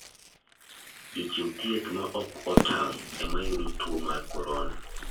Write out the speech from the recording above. Jochiw thieth ma ok otang' ema yudo tuo mar korona.